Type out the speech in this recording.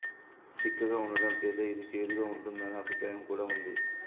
చిక్కగా ఉండడం చేత ఇది చేదుగా ఉంటుందనే అభిప్రాయం కూడా ఉంది